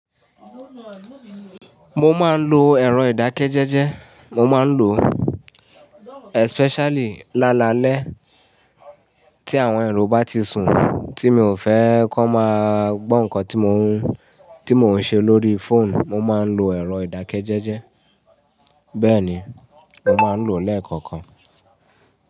Mo máa ń lo ẹ̀rọ ìdákẹ́jẹ́jẹ́, mo máa ń lo especially lálalẹ́ tí àwọn èrò bá ti sùn tí mi ò fẹ́ kọ́ máa gbọ́ nǹkan tí mo ń, tí mo ń ṣe lórí phone. Mo máa ń lo ẹ̀rọ ìdákẹ́jẹ́jẹ́. Bẹ́ẹ̀ ni, mo máa ń lo lẹ́ẹ̀kọ̀kan.